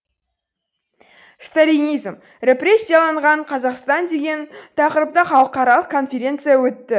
сталинизм репрессияланған қазақстан деген тақырыпта халықаралық конференция өтті